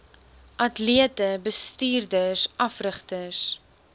atlete bestuurders afrigters